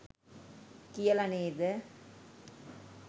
කියලා නේද?